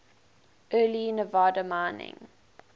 early nevada mining